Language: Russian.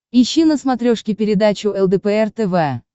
ищи на смотрешке передачу лдпр тв